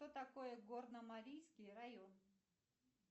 что такое горномарийский район